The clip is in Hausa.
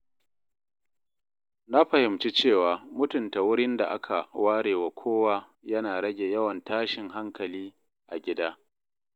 Na fahimci cewa mutunta wurin da aka ware wa kowa yana rage yawan tashin hankali a gida.